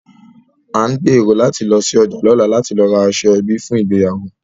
À ń gbèrò láti lọ sí ọjà lọ́la láti lọ ra aṣọ ẹbí fún ìgbéyàwó